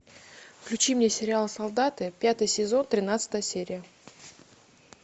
включи мне сериал солдаты пятый сезон тринадцатая серия